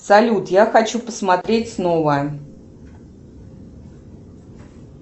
салют я хочу посмотреть снова